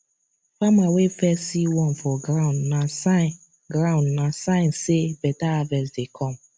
farmer wey first see worm for ground na sign ground na sign say better harvest dey come